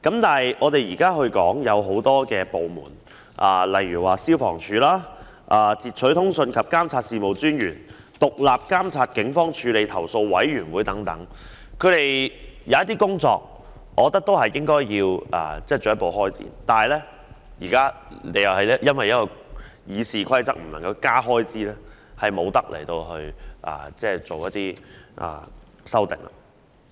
對於很多政府部門或機構，例如消防處、截取通訊及監察事務專員、獨立監察警方處理投訴委員會等，我認為它們有些工作應該進一步開展，但現在亦因《議事規則》規定而令議員無法提出增加開支。